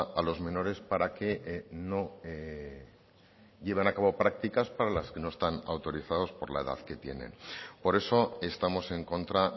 a los menores para que no lleven a cabo prácticas para las que no están autorizados por la edad que tienen por eso estamos en contra